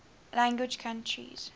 language countries